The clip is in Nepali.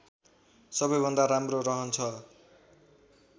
सबै भन्दा राम्रो रहन्छ